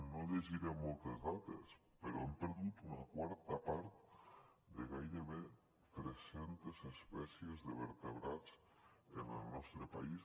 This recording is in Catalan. no llegiré moltes dates però hem perdut una quarta part de gairebé tres centes espècies de vertebrats en el nostre país